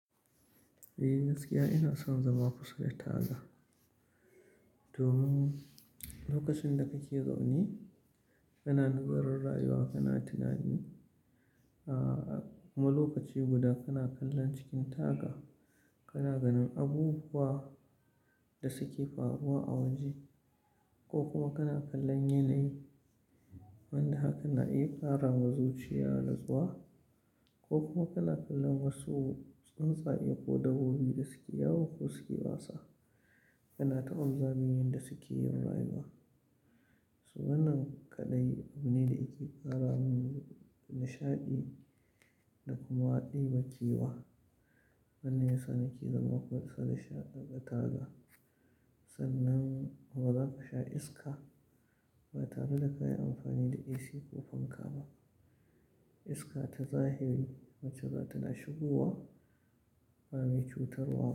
Eh gaskiya ina son zama kusa da taga. Domin lokacin da kake zaune kana nazarin rayuwa kana tunani, kuma lokaci guda kana kallon cikin taga, kana ganin abubuwa da suke faruwa a waje. Ko kuma kana kallon yanayi wanda hakan na iya ƙara wa zuciya nutsuwa, ko kuma kana kallon wasu tsantsaye ko dabbobi da suke yawo ko suke wasa. Kana ta observing yanda suke yin rayuwa. Su wannan kaɗai abu ne da yake ƙara min nishaɗi da kuma ɗebe kewa. Wannan ya sa nake zama kusa da taga. Sannan kuma za ka sha iska ba tare da ka yi amfani da AC ko fanka ba. Iska ta zahiri wacce za ta na shigowa ba mai cutarwa ba.